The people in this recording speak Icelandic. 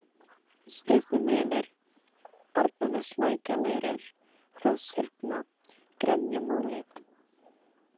Strympumelur, Arnarneslækjarleirur, Hrosshyrna, Grenjamúli